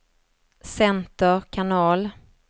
center kanal